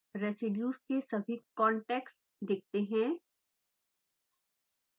residues के सभी contacts दिखते हैं